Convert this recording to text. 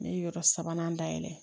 Ne ye yɔrɔ sabanan dayɛlɛ